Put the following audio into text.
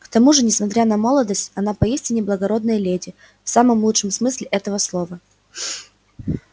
к тому же несмотря на молодость она поистине благородная леди в самом лучшем смысле этого слова